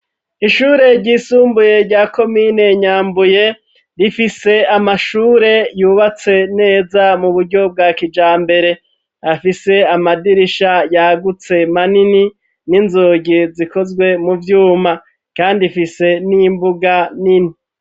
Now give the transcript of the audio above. Ishure ryisumbuye rya komine Nyambuye, rifise amashure yubatse neza mu buryo bwa kijambere, afise amadirisha yagutse manini n'inzugi zikozwe mu vyuma kandi ifise n'imbuga nini.